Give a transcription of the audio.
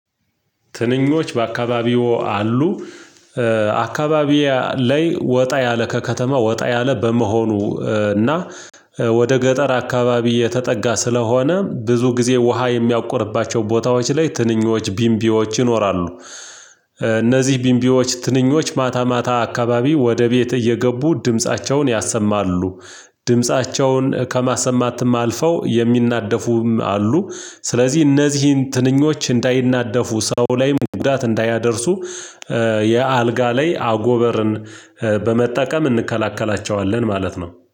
ትንኞች በአካባቢው አሉ አካባቢያ ላይ ወጣ ያለ ከከተማ ወጣ ያለ በመሆኑ። እና ወደ ገጠር አካባቢ የተጠጋ ስለሆነ ብዙ ጊዜ ውሃ የሚያቆርባቸው ቦታዎች ላይ ትንኞች ቢንቢዎች ይኖራሉ። እነዚህ ቢንቢዎች ትንኞች ማታ አካባቢ ወደ ቤት እየገቡ ድምፃቸውን ያሰማሉ። ድምፃቸውን ከማሰማትም አልፈው የሚናደፉም አሉ። ስለዚህ እነዚህን ትንኞች እንዳይናደፉ ሰው ላይም ጉዳት እንዳያደርሱ የአልጋ ላይ አጎበርን በመጠቀም እንከላከላቸዋለን ማለት ነው